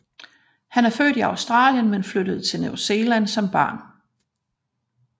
Han er født i Australien men flyttede til New Zealand som barn